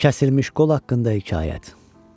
Kəsilmiş qol haqqında hekayət.